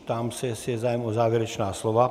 Ptám se, jestli je zájem o závěrečná slova.